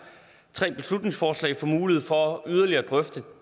tre beslutningsforslag får mulighed for yderligere at drøfte